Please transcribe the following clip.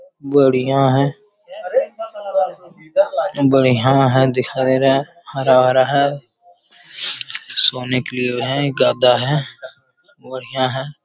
बढ़िया है। बढ़िया है दिखाई रहा है। हरा-भरा है। सोने के लिए है गद्दा है। बढ़िया है।